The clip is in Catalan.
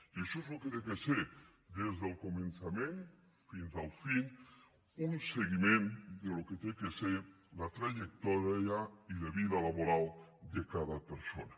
i això és el que ha de ser des del començament fins al final un seguiment del que ha de ser la trajectòria i la vida laboral de cada persona